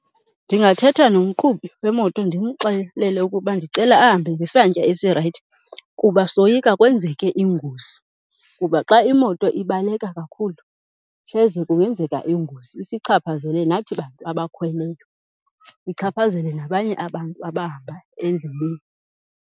Ndingathetha nomqhubi wemoto ndimxelele ukuba ndicela ahambe ngesantya esirayithi kuba soyika kwenzeke ingozi. Kuba xa imoto ibaleka kakhulu hleze kungenzeka ingozi isichaphazele nathi bantu abakhweleyo, ichaphazele nabanye abantu abahamba endleleni.